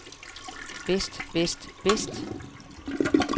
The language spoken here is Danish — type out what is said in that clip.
bedst bedst bedst